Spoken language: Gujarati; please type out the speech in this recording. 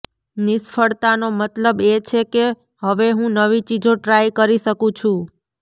નિષ્ફળતાનો મતલબ એ કે હવે હું નવી ચીજો ટ્રાય કરી શકું છું